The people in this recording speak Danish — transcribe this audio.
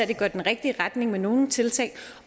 det går den rigtige retning med nogle tiltag